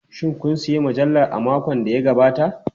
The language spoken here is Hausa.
Shin kun sayi mujallar a makon da ya gabata?